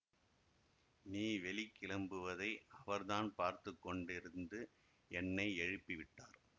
நீ வெளி கிளம்புவதை அவர்தான் பார்த்து கொண்டிருந்து என்னை எழுப்பி விட்டார்